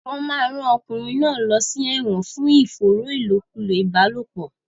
Wọn máa rán ọkùnrin náà lọ sí ẹ̀wọ̀n fún ìfòòró ìlòkulò ìbálòpọ̀.